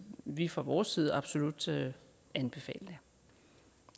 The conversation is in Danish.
vi fra vores side absolut anbefale det